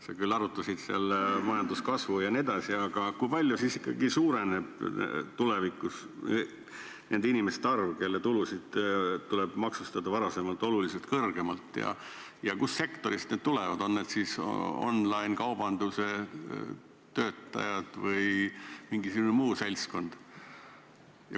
Sa küll arutasid seda majanduskasvu jne, aga kui palju siis ikkagi suureneb tulevikus nende inimeste arv, kelle tulusid tuleb maksustada varasemast oluliselt kõrgemalt, ja kust sektorist nad tulevad, on need online-kaubanduse töötajad või mingisugune muu seltskond?